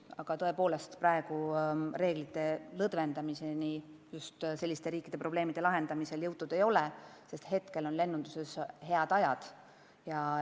Aga tõepoolest, reeglite lõdvendamiseni selliste riikide probleemide lahendamisel jõutud ei ole, sest praegu on lennunduses head ajad.